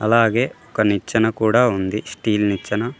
అలాగే ఒక నిచ్చెన కూడా ఉంది స్టీల్ నిచ్చెన.